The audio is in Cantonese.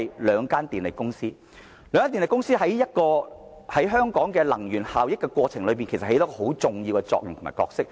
兩間電力公司在香港的能源效益政策中，扮演着相當重要的角色。